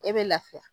E bɛ lafiya